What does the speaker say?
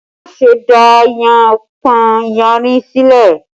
Má ṣe dá yánpọnyánrin sílẹ̀!